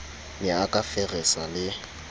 ne a ka feresa le